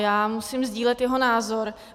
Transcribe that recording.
Já musím sdílet jeho názor.